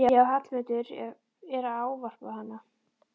Já, Hallmundur er að ávarpa hana!